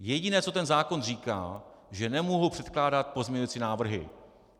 Jediné, co ten zákon říká, že nemohu předkládat pozměňovací návrhy.